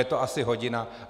Je to asi hodina.